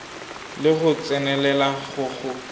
le go tsenelela go go